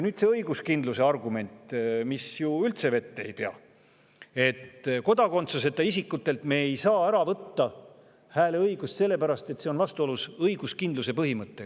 Nüüd see õiguskindluse argument, mis ju üldse vett ei pea: me ei saa kodakondsuseta isikutelt hääleõigust ära võtta sellepärast, et see on vastuolus õiguskindluse põhimõttega.